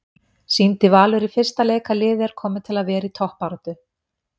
Sýndi Valur í fyrsta leik að liðið er komið til að vera í toppbaráttu?